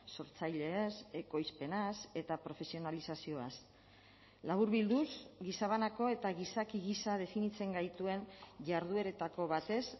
sortzaileez ekoizpenaz eta profesionalizazioaz laburbilduz gizabanako eta gizaki gisa definitzen gaituen jardueretako batez